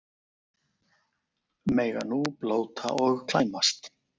Mega nú blóta og klæmast